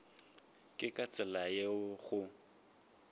ke ka tsela yeo go